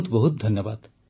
ବହୁତ ବହୁତ ଧନ୍ୟବାଦ